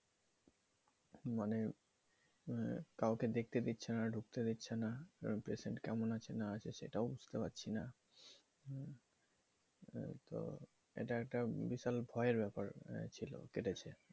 মানে কাউকে দেখতে দিচ্ছে না ঢুকতে দিচ্ছে না কার পেশেন্ট কেমন আছে না আছে সেটাও বুঝতে পারছিনা তো এটা একটা বিশাল ভয়ের ব্যাপার ছিল কেটেছে